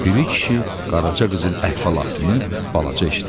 Piri kişi Qaraca qızın əhvalatını balaca eşitmişdi.